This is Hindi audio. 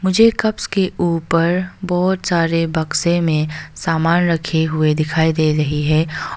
मुझे कप्स के ऊपर बहुत सारे बक्से में सामान रखे हुए दिखाई दे रही हैं।